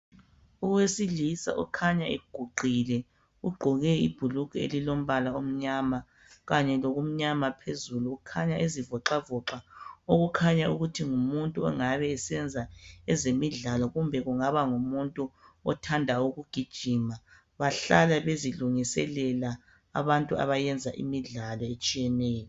Owesilisa okhanya eguqile, ugqoke ibhulugwe elilombala omnyama kanye lokumnyama phezulu. Ukhanya ezivoxavoxa okukhanya ukuthi ngumuntu ongabe esenza ezemidlalo kumbe kungaba ngumuntu othanda ukugijima. Bahlala bezilungiselela abantu abayenza imidlalo etshiyeneyo.